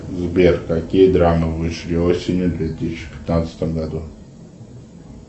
сбер какие драмы вышли осенью в две тысячи пятнадцатом году